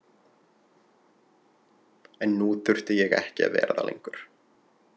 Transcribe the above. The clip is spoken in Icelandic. En nú þurfti ég ekki að vera það lengur.